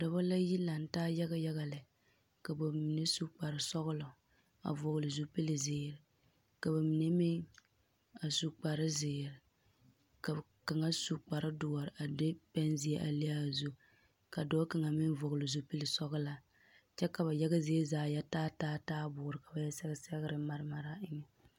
Dͻbͻ la yi lanta yaga lԑ ka ba mine su kpare sͻgelͻ a vͻgele zupili zeere, ka ba mine meŋ a su kpare zeere, ka kaŋa su kpare dõͻre a de pԑnzeԑ a le a zuŋ. Ka dͻͻ kaŋa meŋ vͻgele zupili sͻgelaa kyԑ ka ba yaga zie zaa yԑ taa taa taaboore ka ba sԑge sԑgere mare.